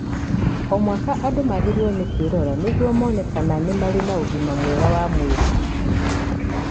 O mwaka, andũ magĩrĩirũo nĩ kwĩrora nĩguo mone kana nĩ marĩ na ũgima mwega wa mwĩrĩ.